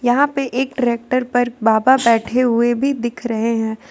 यहां पे एक ट्रैक्टर पर बाबा बैठे हुए भी दिख रहे हैं।